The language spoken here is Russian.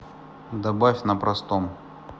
добавь на простом